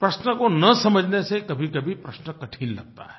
प्रश्नों को न समझने से कभीकभी प्रश्न कठिन लगता है